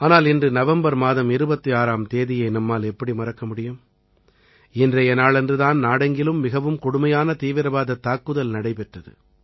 ஆனால் இன்று நவம்பர் மாதம் 26ஆம் தேதியை நம்மால் எப்படி மறக்க முடியும் இன்றைய நாளன்று தான் நாடெங்கிலும் மிகவும் கொடுமையான தீவிரவாதத் தாக்குதல் நடைபெற்றது